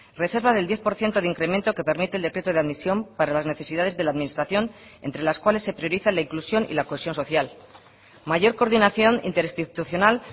reserva del diez por ciento de incremento que permite el decreto de admisión para las necesidades de la administración entre las cuales se prioriza la inclusión y la cohesión social mayor coordinación interinstitucional